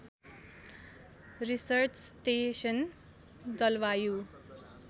research station जलवायु